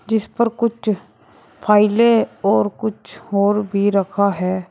जिस पर कुछ फाइलें और कुछ और भी रखा है।